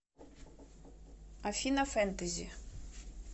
афина фентези